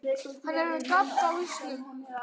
Hann er með gat á hausnum.